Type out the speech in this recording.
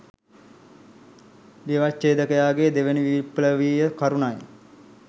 ව්‍යවච්ඡේදකයාගේ දෙවැනි විප්ලවීය කරුණයි